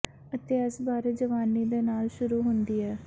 ਅਤੇ ਇਸ ਬਾਰੇ ਜਵਾਨੀ ਦੇ ਨਾਲ ਸ਼ੁਰੂ ਹੁੰਦੀ ਹੈ